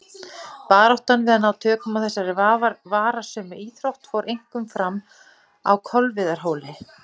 Baráttan við að ná tökum á þessari varasömu íþrótt fór einkum fram á Kolviðarhóli.